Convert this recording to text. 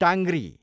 टाङ्ग्री